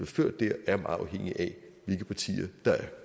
ført der er meget afhængig af hvilke partier der er